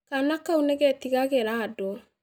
Kaana kau nĩ getigagĩra andũ